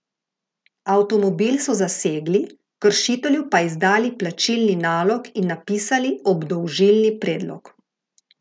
Avtomobil so zasegli, kršitelju pa izdali plačilni nalog in napisali obdolžilni predlog.